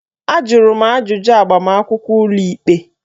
Ajụrụ m ajụjụ n'agbamakwụkwọ ụlọikpe